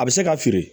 A bɛ se ka feere